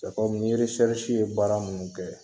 ye baara minnu kɛ.